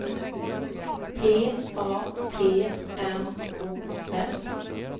P A T M O S